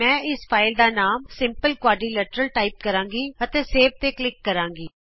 ਮੈਂ ਇਸ ਫਾਈਲ ਦਾ ਨਾਮ simple ਕੁਆਡਰੀਲੇਟਰਲ ਟਾਈਪ ਕਰਾਂਗੀ ਅਤੇ ਸੇਵ ਤੇ ਕਲਿਕ ਕਰਾਂਗੀ